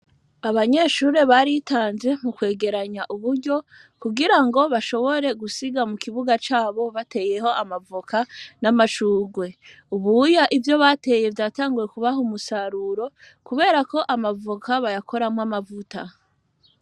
Abanyeshurure baritanze mu kwegeranya uburyo kugira ngo bashobore gusiga mu kibuga cabo bateyeho amavoka n'amacugwe ubuya ivyo bateye vyatanguwe kubaha umusaruro, kubera ko amavoka bayakoramwo amavuta.